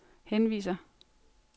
henviser